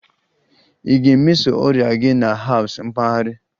Ị ga-emeso ọrịa gị na herbs mpaghara?